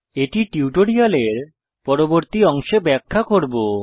এটি টিউটোরিয়ালের পরবর্তী অংশে ব্যাখ্যা করব